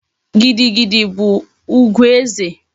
Gidi gidi bu ugwu eze